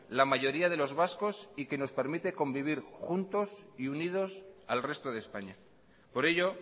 la mayoría de los vascos y que nos permite convivir juntos y unidos al resto de españa por ello